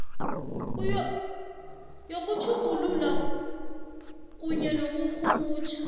yokutjhugulula kunye nokurhumutjha